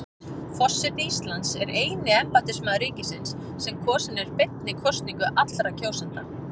Forseti Íslands er eini embættismaður ríkisins sem kosinn er beinni kosningu allra kjósenda.